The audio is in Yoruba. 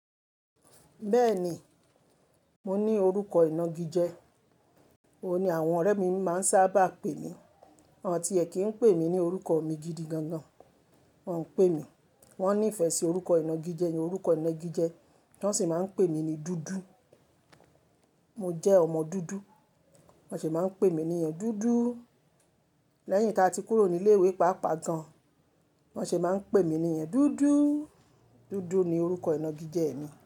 Bẹ́ẹ̀ ni, mo ní orúkọ ìnagijẹ, òun ni àwọn ọ̀rẹ́ mi máa ń sábà pè mí. Wọ́n ti ẹ kí ń pè mí ní orúkọ mi gidi gangan, wọ́n ń pè mí, wọ́n ní ìfẹ́ sí orúkọ ìnagijẹ mi. Orúkọ ìnagijẹ, wọn sì máa ń pè mí ní dúdú. Mo jẹ́ ọmọ dúdú, lọ́n se máa ń pè mí ní yeen dúdú. Lẹ́yìn taa ti kúrò ní ilé ìwé pàápàá gan, bọ́n se máa ń pè mí niyen dúdú. Dúdú ni orúkọ ìnagijẹ mi.